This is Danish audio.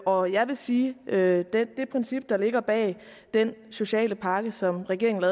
og jeg vil sige at det princip der ligger bag den sociale pakke som regeringen